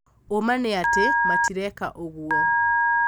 ũmaa nĩ atĩ matireka ũguo.